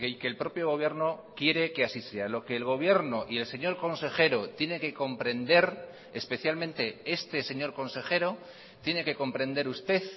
que el propio gobierno quiere que así sea lo que el gobierno y el señor consejero tiene que comprender especialmente este señor consejero tiene que comprender usted